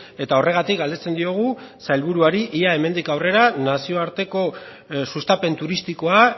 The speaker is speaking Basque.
eta horregatik galdetzen diogu sailburuari ia hemendik aurrera nazioarteko sustapen turistikoa